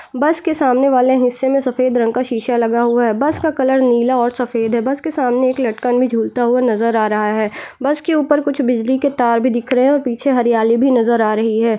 बस के सामने वाले हिस्से में रंग का शीशा लगा हुआ है बस का कलर नीला और सफेद है बस के सामने एक लटकन में झूलता हुआ नजर आ रहा है बस के ऊपर कुछ बिजली के तार भी दिख रहे हैं और पीछे हरियाली भी नजर आ रही है।